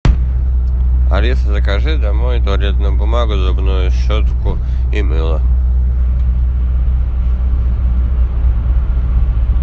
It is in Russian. алиса закажи домой туалетную бумагу зубную щетку и мыло